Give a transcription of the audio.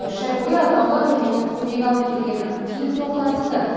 үш ай бойы атаулы әлеуметтік көмек алып келген кейін тоқтатылды